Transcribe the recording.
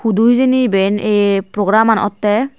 hudu hijeni iben ey program an otte.